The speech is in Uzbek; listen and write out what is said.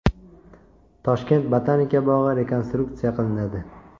Toshkent botanika bog‘i rekonstruksiya qilinadi.